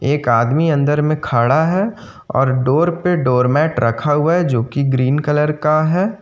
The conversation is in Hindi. एक आदमी अंदर में खड़ा है और डोर पे डोर मेट रखा हुआ है जो कि ग्रीन कलर का है।